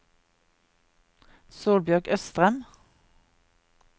Solbjørg Østrem